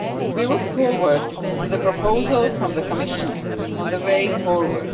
We look forward to the proposal from the Commission on the way forward.